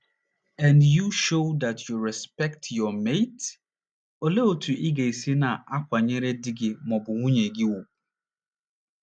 n you show that you respect your mate? Olee otú ị ga - esi na - akwanyere di gị ma ọ bụ nwunye gị ùgwù?